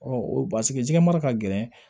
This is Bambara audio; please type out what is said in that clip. o paseke jɛgɛ mara ka gɛlɛn